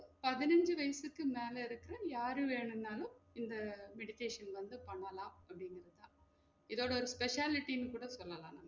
பதிநான்கு வயசுக்கு மேல இருக்குற யாரு வேணுனாலும் இந்த meditation வந்து பண்ணலாம் அப்டிங்குறது தான் இதோட ஒரு speciality ன்னு கூட சொல்லலாம்